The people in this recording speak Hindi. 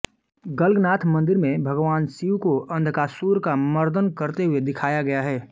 गल्गनाथ मंदिर में भगवान शिव को अंधकासुर का मर्दन करते हुए दिखाया गया है